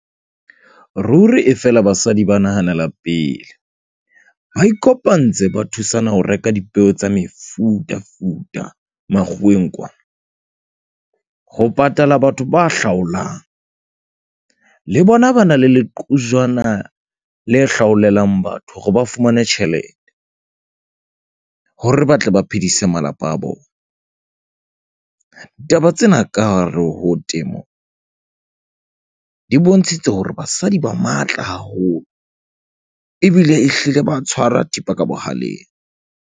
Ruri e fela basadi ba nahanela pele. Ba ikopantse ba thusana ho reka dipeo tsa mefutafuta makgoweng kwana. Ho patala batho ba hlaollang le bona ba na le le qojwana le hlaolela batho, hore ba fumane tjhelete hore ba tle ba phedise malapa a bona. Taba tsena ka hare ho temo di bontshitse hore basadi ba matla haholo ebile e hlile ba tshwara thipa ka bohaleng.